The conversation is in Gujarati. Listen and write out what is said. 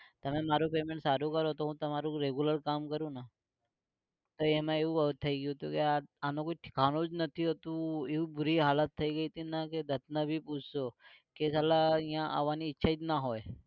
તમે મારું payment સારું કરો તો હું તમારું regular કામ કરું ને તો એમાં એવું થઇ ગયું તું ને કે આનું કોઈ ઠેકાણું જ નથી હોતું એવું બુરી હાલત થઇ ગઈ તી ને કે દત્ત ને ભી પૂછજો કે સાલા અહિયાં આવાની ઈચ્છા જ ના હોય